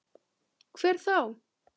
Hver þá?